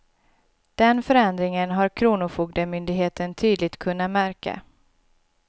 Den förändringen har kronofogdemyndigheten tydligt kunna märka.